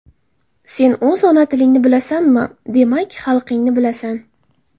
Sen o‘z ona tilingni bilasanmi, demak, xalqingni bilasan.